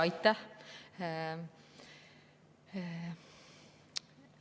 Aitäh!